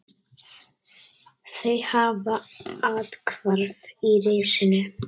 Þau hafa athvarf í risinu.